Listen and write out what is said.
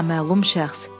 Naməlum şəxs.